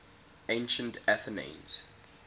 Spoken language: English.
ancient athenians